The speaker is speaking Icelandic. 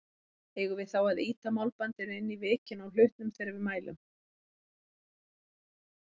Eigum við þá að ýta málbandinu inn í vikin á hlutnum þegar við mælum?